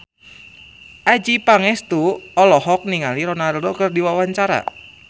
Adjie Pangestu olohok ningali Ronaldo keur diwawancara